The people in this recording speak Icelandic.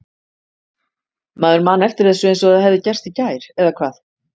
Maður man eftir þessu eins og það hefði gerst í gær. eða hvað?